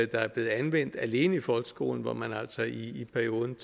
der er blevet anvendt alene i folkeskolen hvor man altså i perioden